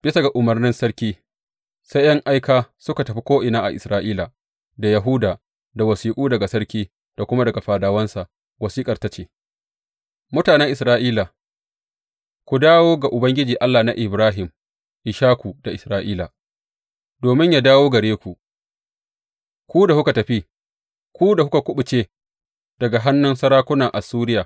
Bisa ga umarnin sarki, sai ’yan aika suka tafi ko’ina a Isra’ila da Yahuda da wasiƙu daga sarki da kuma daga fadawansa, wasiƙar tana cewa, Mutanen Isra’ila, ku dawo ga Ubangiji Allah na Ibrahim, Ishaku da Isra’ila, domin yă dawo gare ku, ku da kuka tafi, ku da kuka kuɓuce daga hannun sarakuna Assuriya.